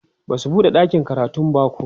Basu buɗe ɗakin karatun bako